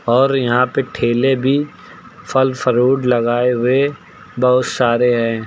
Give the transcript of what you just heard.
और यहां पे ठेले भी फल फरूट लगाए हुए बहुत सारे हैं।